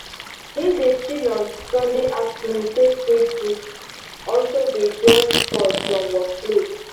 him dey chill on sunday afternoon take read books also dey jorge call from work place